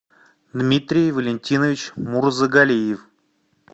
дмитрий валентинович мурзагалиев